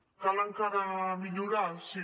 cal encara millorar sí